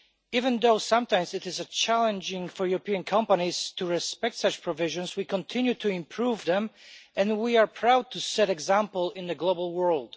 Even though it is sometimes challenging for European companies to respect such provisions, we continue to improve them and we are proud to set an example in the global world.